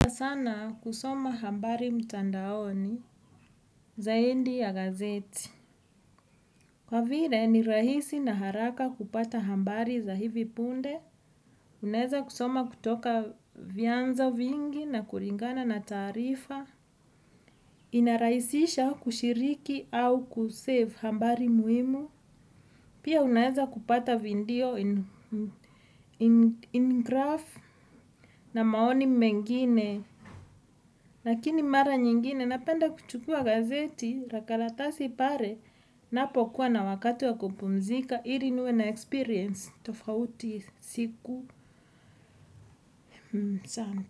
Sana kusoma habari mtandaoni zaidi ya gazetti. Kwa vile ni rahisi na haraka kupata habari za hivi punde. Unaeza kusoma kutoka vyanzo vingi na kulingana na taarifa. Inarahisisha ushiriki au kusave habari muhimu. Pia unaeza kupata video in graph na maoni mengine. Lakini mara nyingine napenda kuchukua gazetti la karatasi pale napo kuwa na wakati wa kupumzika ili niwe na experience tofauti siku sana.